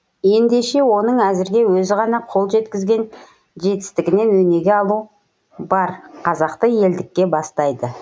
ендеше оның әзірге өзі ғана қол жеткізген жетістігінен өнеге алу бар қазақты елдікке бастайды